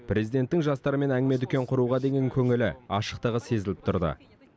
президенттің жастармен әңгіме дүкен құруға деген көңілі ашықтығы сезіліп тұрды